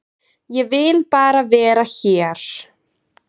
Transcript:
Ég vil bara vera hér.